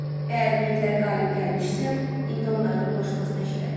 Əgər minglər qalib gəlmişsə, indi onların ulaşmasına eşidərik.